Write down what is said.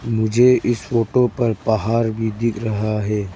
मुझे इस फोटो पर पहाड़ भी दिख रहा है।